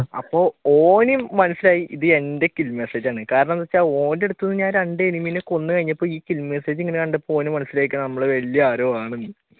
അപ്പൊ ഓൻ മനസിലായി ഇത് എന്റെ kill message ആണെന്ന് കാരണമെന്തെന്ന് വെച്ച ഓന്റെ അടുത്തുനിന്ന് ഞാൻ രണ്ടു enemy നെ കൊന്നു കഴിഞ്ഞപ്പോ ഈ kill message ഇങ്ങനെ കണ്ടപ്പോൾ ഓൻ മനസിലായിക്കാണും നമ്മൾ വലിയ ആരോ ആണെന്ന്